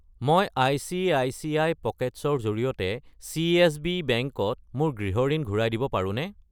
মই আই.চি.আই.চি.আই. পকেটছ্‌ ৰ জৰিয়তে চিএছবি বেংক ত মোৰ গৃহ ঋণ ঘূৰাই দিব পাৰোনে?